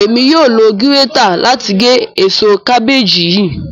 Emi yóò lo girètạ làti gé ésò kàbèeji yii.